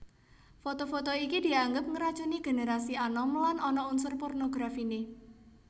Foto foto iki dianggep ngracuni génerasi anom lan ana unsur pornografiné